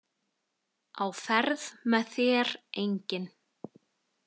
Á ferð með þér enginn.